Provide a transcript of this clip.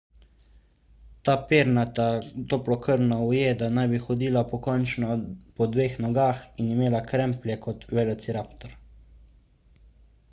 ta pernata toplokrvna ujeda naj bi hodila pokončno po dveh nogah in imela kremplje kot velociraptor